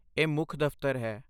ਇਹ ਮੁੱਖ ਦਫ਼ਤਰ ਹੈ।